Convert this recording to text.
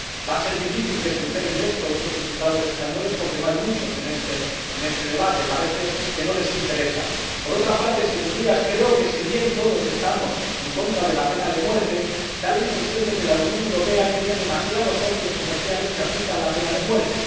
Va a ser difícil que se enteren de esto otros diputados españoles, porque no hay muchos en este debate. Parece que no les interesa. Por otra parte, Señorías, creo que, si bien todos estamos en contra de la pena de muerte, da la impresión de que la Unión Europea tiene demasiados socios comerciales que aplican la pena de muerte.